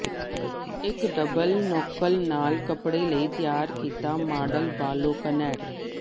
ਇੱਕ ਡਬਲ ਨੋਕਨ ਨਾਲ ਕੱਪੜੇ ਲਈ ਤਿਆਰ ਕੀਤਾ ਮਾਡਲ ਬਾਲੋਕਨੈਟ